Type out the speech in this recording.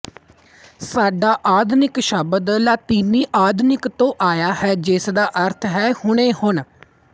ਸਾਡਾ ਆਧੁਨਿਕ ਸ਼ਬਦ ਲਾਤੀਨੀ ਆਧੁਨਿਕ ਤੋਂ ਆਇਆ ਹੈ ਜਿਸਦਾ ਅਰਥ ਹੈ ਹੁਣੇ ਹੁਣ